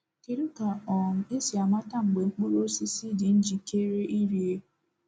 Kedu ka um esi amata mgbe mkpụrụ osisi dị njikere ịrie?